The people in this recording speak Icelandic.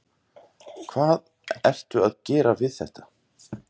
Hvað, hvað ertu að gera við þetta?